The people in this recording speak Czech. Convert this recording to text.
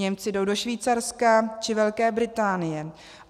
Němci jdou do Švýcarska či Velké Británie.